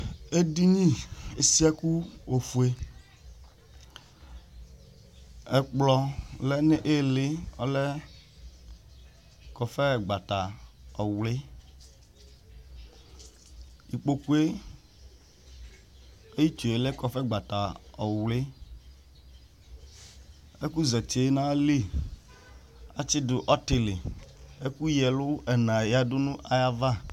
Edini si ɛku ofue Ɛkplɔ lɛnu ɩlɩ ɔlɛ kɔfɛ gbata ɔwli ikpokue ayitsue lɛ kɔfɛ gbata ɔwli, ɛku zetie nayilɩ atsidu ɔtili, ɛku yǝɛlu ɛna yǝdu nu ayava